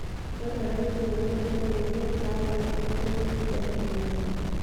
Ore orangi ngiro too mbenek e kaawa naa empejoto enkijiepe nayau